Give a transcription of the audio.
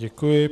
Děkuji.